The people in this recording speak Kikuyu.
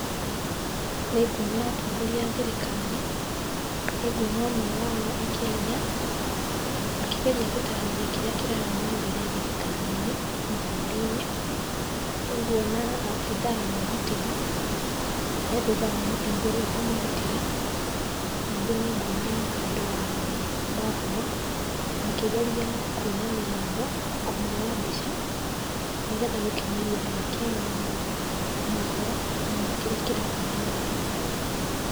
Nĩnguona atongoria a thirikari, nĩnguona ũmwe wao akĩaria akĩgeria gũtarĩria kĩrĩa kĩrathiĩ na mbere thirikari-inĩ na bũrũri-inĩ. Nĩnguona abithaa wa ũgitĩri, e thutha wa mũtongoria ũyũ kũmũgitĩra. Ningĩ nĩnguona andũ a mohoro makĩgeria kũmuoya mũgambo na kũmuoya mbica nĩgetha gũkinyĩria Akenya mohoro ma kĩrĩa kĩrathiĩ na mbere.